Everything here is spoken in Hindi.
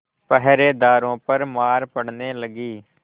पहरेदारों पर मार पड़ने लगी